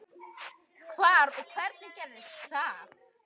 Hvar og hvernig gerðist það?